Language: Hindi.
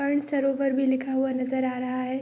सरोवर भी लिखा हुआ नजर आ रहा है।